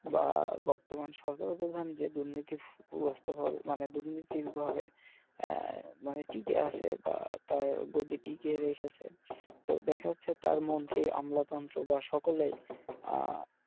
বা বর্তমান সরকার প্রধান যে দুর্নীতি ভাবে মানে দুর্নীতির ভাবে আহ মানে টিকে আছে তার গদিটাকে রেখেছে তো দেখা যাচ্ছে তার মন্ত্রি আমলা তন্ত্র বা সকলেই আহ